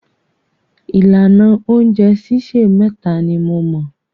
Ìlànà oúnjẹ sísè méta ni mo mọ̀.